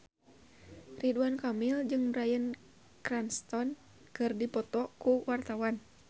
Ridwan Kamil jeung Bryan Cranston keur dipoto ku wartawan